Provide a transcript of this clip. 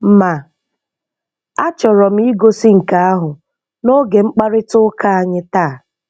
Ma achọrọ m igosi nke ahụ n'oge mkparịta ụka anyị taa.